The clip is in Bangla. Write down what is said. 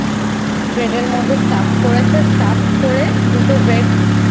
Bread এর মধ্যে Stuffed করেছে করে দুটো এর মধ্যে দুটো Bread